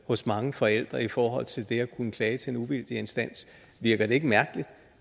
hos mange forældre i forhold til det at kunne klage til en uvildig instans virker det mærkeligt